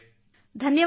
ಧನ್ಯವಾದ ಸರ್